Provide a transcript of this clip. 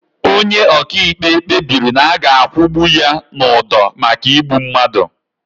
Onye ọkaikpe kpebiri na a ga akwụgbu ya n'ụdọ maka igbu mmadụ.